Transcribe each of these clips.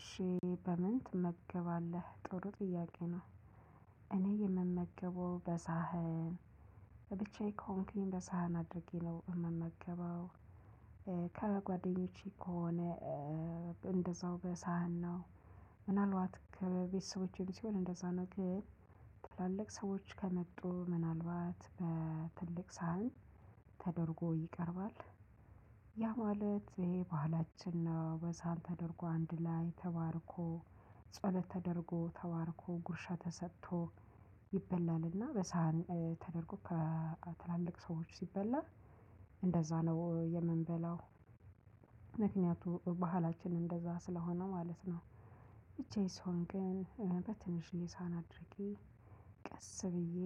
እሺ በምን ትመገባለህ ጥሩ ጥያቄ ነው? እኔ የምመገበው በሳህን ለብቻዬ ከሆንኩኝ በሳህን አድርጌ ነው የምመገበው። ከበጓደኞቼ ከሆነ እንደዛው በሳህን ነው። ምናልባት ከቤተሰቦቼም ሲሆን እንደዛ ነው። ግን ትላልቅ ሰዎች ከመጡ ምናልባት በትልቅ ሳህን ተደርጎ ይቀርባል። ያ ማለት ይሄ ባህላችን ነው በሳህን ተደርጎ አንድ ላይ ተባርኮ ጸሎት ተደርጎ ተባርኮ ጉርሻ ተሰጥቶ ይበላልና በሳህን ተደርጎ ከትላልቅ ሰዎች ሲበላ እንደዛ ነው የምንበላው። ምክንያቱም ባህላችን እንደዛ ስለሆነ ማለት ነው። ብቻየን ስሆን ግን በትንሽየ ሳህንአድርጌ ቀስ ብዬ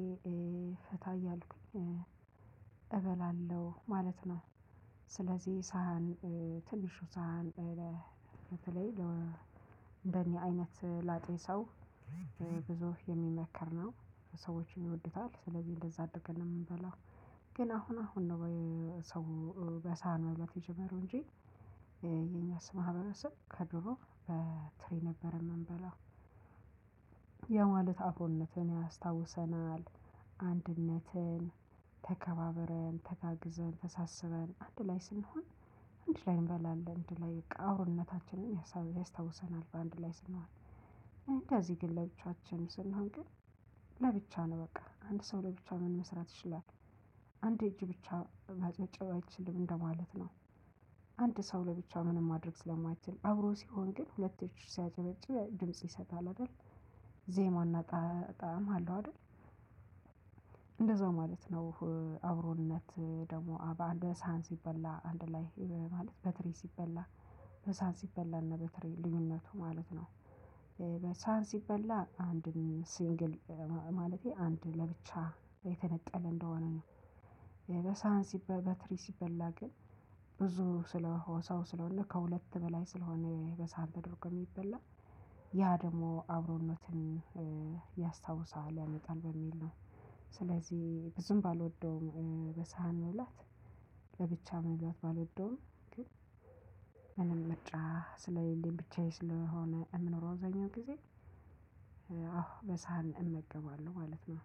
ፈታ እያልኩኝ እበላለሁ ማለት ነው። ስለዚህ ሳህን ትንሹ ሳህን በተለይ እንደኔ አይነት ላጤ ሰው ብዙ የሚመከር ነው። ሰዎችም ይወዱታል ስለዚህ እንደዛ አድረገን ነው የምንበላው። ግን አሁን አሁን ነው ሰው በሳህን መብላት የጀመረው እንጂ የኛስ ማህበረሰብ ከድሮ በትሪ ነበር የምንበላው። ያ ማለት አብሮነትን ያስታውሰናል አንድነትን ተከባብረን ተጋግዘን ተሳስበን አንድ ላይ ስንሆን። አንድ ላይ እንበላለን አንድ ላይ በቃ አብሮነታችንን ያሳ ያስታውሰናል በአንድ ላይ ስንሆን። እንደዚህ ግን ለብቻችን ስንሆን ግን ለብቻ ነው በቃ አንድ ሰው ለብቻው ምን መስራት ይችላል? አንድ እጅ ብቻ ማጨብጨብ አይችልም እንደማለት ነው። አንድ ሰው ለብቻ ምንም ማድረግ ስለማይችል አብሮ ሲሆን ግን ሁለት እጅ ሲያጨበጭብ ድምጽ ይሰጣል አይደል? ዜማና ጣዕም አለው አይደል? እንደዛው ማለት ነው። አብሮነት ደግሞ በአንድ ሳህን ሲበላ አንድ ላይ ማለት በትሪ ሲበላ በሳህን ሲበላ እና በትሪ ልዩነቱ ማለት ነው። በሳህን ሲበላ አንድም ሲንግል ማለቴ አንድ ለብቻ የተነጠለ እንደሆነ ነው። የበሳህን ሲበ በትሪ ሲበላ ግን ብዙ ስለ ሰው ስለሆነ ከሁለት በላይ ስለሆነ በሰሃን ተደርጎ የሚበላ ያ ደግሞ አብሮነትን ያስታውሳል ያመጣል በሚል ነው። ስለዚህ ብዙም ባልወደውም በሳህን መብላት ለብቻ መብላት ባልወደውም ግን ምንም ምርጫ ስሌለኝ ብቻዬን ስለሆነ የምኖረው አብዛኛውን ጊዜ። አዎ በሳህን እመገባለሁ ማለት ነው